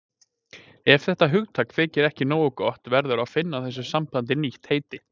Ef þetta hugtak þykir ekki nógu gott verður að finna þessu sambandi nýtt heiti.